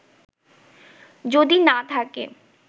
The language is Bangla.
যদি না থাকে